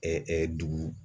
dugu